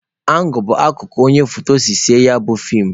Angụl bụ akụkụ onye foto si ese ya bụ feem